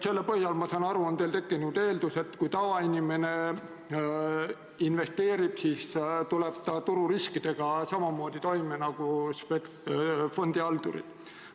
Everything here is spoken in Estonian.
Selle põhjal, ma saan aru, te eeldate, et kui tavainimene investeerib, siis tuleb ta tururiskidega samamoodi toime nagu fondihaldurid.